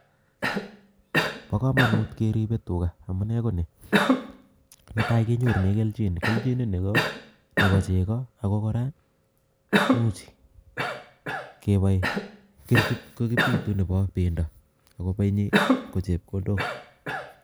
pakamanut keribe tuga amunee koni, netai kenyorunee kelchin, kelchin ini kopachekoo ako kora imuch kepae kirkit kopitu nepa penda, ako penyi kochepkondok.